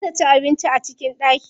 Za ta ci abinci a cikin ɗaki.